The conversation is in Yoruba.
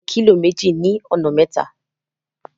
Ẹ bá mi ta adìẹ kílò méjì ní ọ̀nà mẹ́ta.